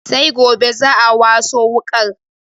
Sai gobe za'a waso wuƙar